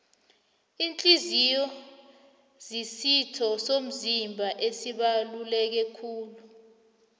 ihliziyo zisitho somzimba esibaluleke kulu